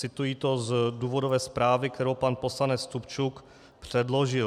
Cituji to z důvodové zprávy, kterou pan poslanec Stupčuk předložil.